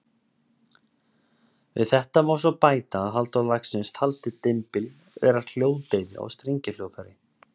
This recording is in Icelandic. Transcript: Við þetta má svo bæta að Halldór Laxness taldi dymbil vera hljóðdeyfi á strengjahljóðfæri.